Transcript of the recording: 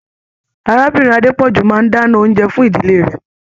Arábìnrin Adepoju máa n dana oúnjẹ fún ìdílé rẹ.